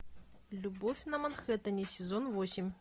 любовь на манхэттене сезон восемь